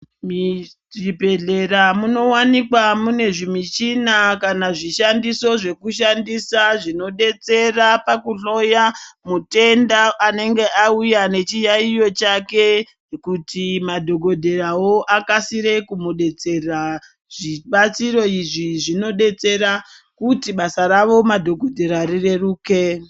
Muzvibhedhlera munowanikwa munezvimichina kana zvishandiso zvekushandisa zvinobetsera zvokuhloya mutenda anenge auya nechiyaiyo chake kuti madhogodheyawo akasire kumudetsera. Zvibatsiro izvi zvinodetsera kuti basa ravo madhogodheya rireruke.